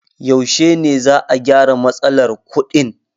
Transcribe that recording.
Yaushe ne za'a gyara matsalar kuɗin?